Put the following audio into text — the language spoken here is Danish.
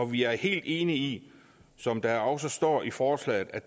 vi er helt enige i som der også står i forslaget at